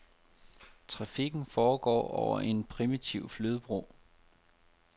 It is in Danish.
Trafikken foregår over en primitiv flydebro.